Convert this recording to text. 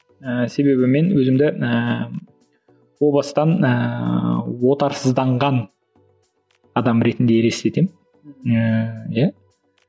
ііі себебі мен өзімді ііі о бастан ііі отарсызданған адам ретінде елестетемін ііі иә